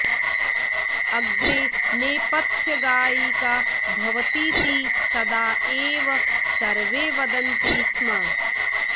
अग्रे नेपथ्यगायिका भवतीति तदा एव सर्वे वदन्ति स्म